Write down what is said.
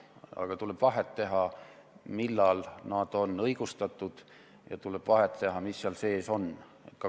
Aga tuleb vahet teha, millal need on õigustatud, ja tuleb vahet teha, mis seal sees on.